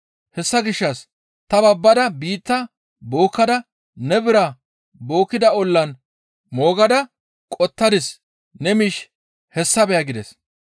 Hessa gishshas ta babbada biitta bookkada ne biraa bookkida ollan moogada qottadis; ne miish hessa beya!› gides.